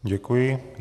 Děkuji.